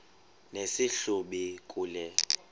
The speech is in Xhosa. nesi hlubi kule